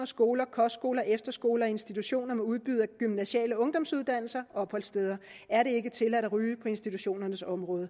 skoler kostskoler efterskoler institutioner med udbud af gymnasiale ungdomsuddannelser og opholdssteder er det ikke tilladt at ryge på institutionernes område